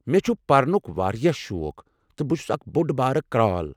مےٚ چھُ پرنُک واریاہ شوق تہٕ بہٕ چھُس اکھ بوٚڑ بارٕ کرٛال۔